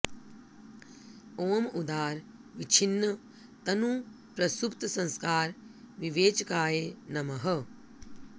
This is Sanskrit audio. ॐ उदार विच्छिन्न तनु प्रसुप्त संस्कार विवेचकाय नमः